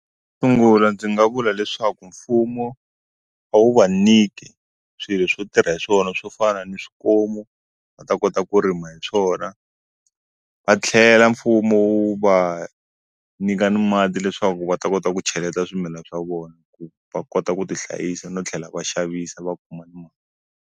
Sungula ndzi nga vula leswaku mfumo a wu va niki swilo swo tirha hi swona swo fana ni swikomu va ta kota ku rima hi swona va tlhela mfumo wu va nyika ni mati leswaku va ta kota ku cheleta swimilana swa vona ku va kota ku ti hlayisa no tlhela va xavisa va kuma mali.